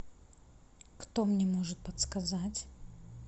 кто мне может подсказать